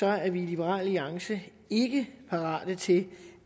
er er vi i liberal alliance ikke parate til